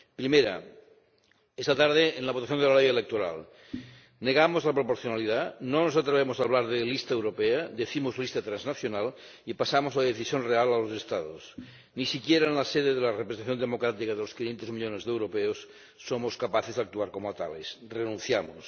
Primera esta tarde, en la votación de la ley electoral, negamos la proporcionalidad, no nos atrevemos a hablar de lista europea ―decimos lista transnacional― y pasamos la decisión real a los Estados. Ni siquiera en la sede de la representación democrática de los 500 millones de europeos somos capaces de actuar como tales renunciamos.